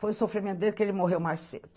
Foi o sofrimento dele que ele morreu mais cedo.